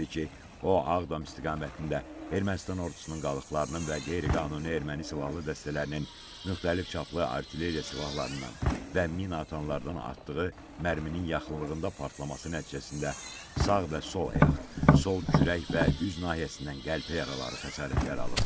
o Ağdam istiqamətində Ermənistan ordusunun qalıqlarının və qeyri-qanuni erməni silahlı dəstələrinin müxtəlif çaplı artilleriya silahlarından və minaatanlardan atdığı mərminin yaxınlığında partlaması nəticəsində sağ və sol ayaq, sol kürək və üz nahiyəsindən qəlpə yaraları xəsarətlər alıb.